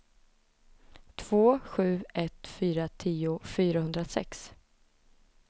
två sju ett fyra tio fyrahundrasex